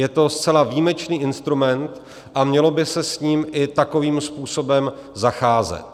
Je to zcela výjimečný instrument a mělo by se s ním i takovým způsobem zacházet.